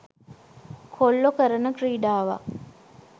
කොල්ලෝ කරන ක්‍රීඩාවක්.